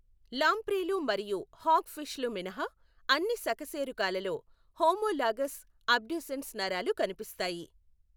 లాంప్రేలు మరియు హాగ్ ఫిష్లు మినహా అన్ని సకశేరుకాలలో హోమోలాగస్ అబ్డ్యూసెన్స్ నరాలు కనిపిస్తాయి.